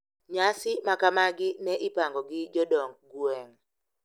Nyasi makamagi ne ipango gi jodong gweng`.